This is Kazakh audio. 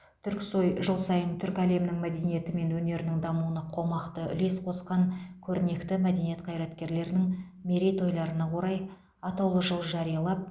түрксой жыл сайын түркі әлемінің мәдениеті мен өнерінің дамуына қомақты үлес қосқан көрнекті мәдениет қайраткерлерінің мерейтойларына орай атаулы жыл жариялап